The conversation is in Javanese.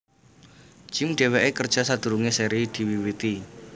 Jim Dheweke kerja sadurunge seri diwiwiti